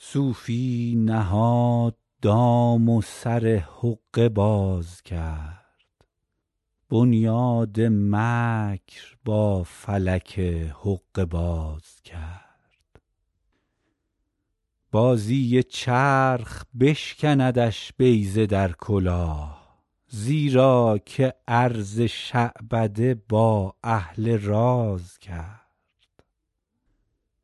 صوفی نهاد دام و سر حقه باز کرد بنیاد مکر با فلک حقه باز کرد بازی چرخ بشکندش بیضه در کلاه زیرا که عرض شعبده با اهل راز کرد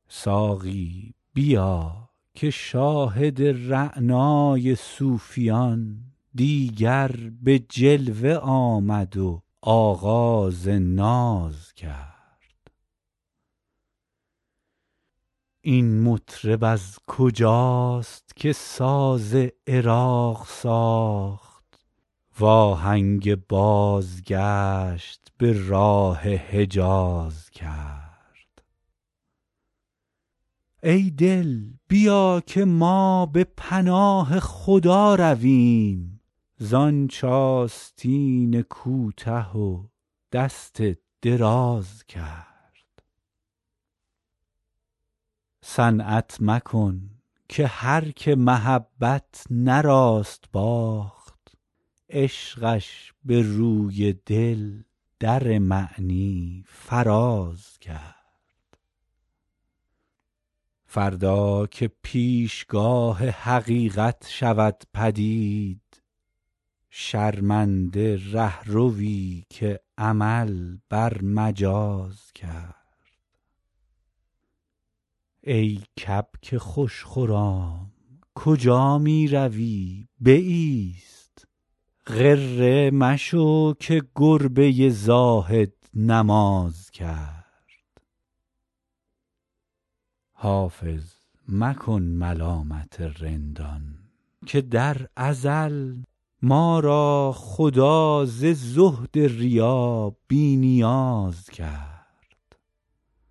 ساقی بیا که شاهد رعنای صوفیان دیگر به جلوه آمد و آغاز ناز کرد این مطرب از کجاست که ساز عراق ساخت وآهنگ بازگشت به راه حجاز کرد ای دل بیا که ما به پناه خدا رویم زآنچ آستین کوته و دست دراز کرد صنعت مکن که هرکه محبت نه راست باخت عشقش به روی دل در معنی فراز کرد فردا که پیشگاه حقیقت شود پدید شرمنده رهروی که عمل بر مجاز کرد ای کبک خوش خرام کجا می روی بایست غره مشو که گربه زاهد نماز کرد حافظ مکن ملامت رندان که در ازل ما را خدا ز زهد ریا بی نیاز کرد